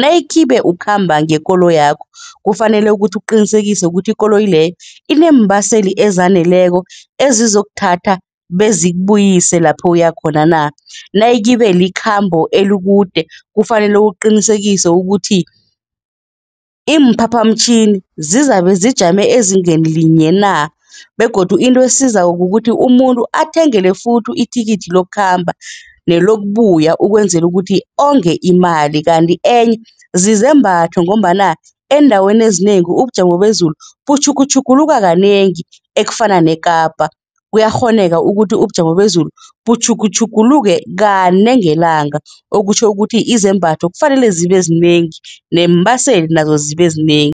nayikhibe ukhamba ngekoloyi yakho kufanele ukuthi ukuqinisekise ukuthi ikoloyi leyo iineembaseli ezaneleko ezizokuthatha bezikubuyise lapho uya khona na. Nayikhibe likhambo elikude kufanele uqinisekise ukuthi iimphaphamtjhini zizabe zijame ezingeni linye na begodu into esizako kukuthi umuntu athengele futhi ithikithi lokukhamba nelokubuya ukwenzela ukuthi onge imali kanti enye zizembatho ngombana eendaweni ezinengi ubujamo bezulu butjhugutjhuguluka kanengi, ekufana neKapa. Kuyakghoneka ukuthi ubujamo bezulu butjhugutjhuguluke kane ngelanga, okutjho ukuthi izembatho kufanele zibe zinengi neembaseli nazo zibe zinengi.